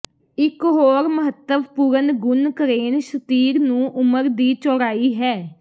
ਇੱਕ ਹੋਰ ਮਹੱਤਵਪੂਰਨ ਗੁਣ ਕਰੇਨ ਸ਼ਤੀਰ ਨੂੰ ਉਮਰ ਦੀ ਚੌੜਾਈ ਹੈ